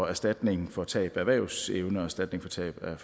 erstatning for tab af erhvervsevne og erstatning for tab af